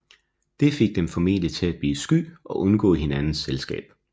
Det fik dem formentlig til at blive sky og undgå hinandens selskab